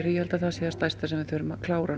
ég held að það sé það stærsta sem við þurfum að klára